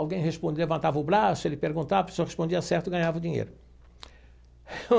Alguém respondia, levantava o braço, ele perguntava, a pessoa respondia certo e ganhava o dinheiro.